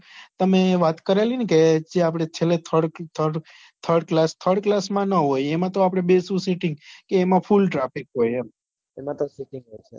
તમે વાત કરેલી ને કે જે આપણે છેલ્લે thired thired class thired class માં ના હોય એમાં તો આપડે બેસવું seeting કે એમાં full traffic હોય એમ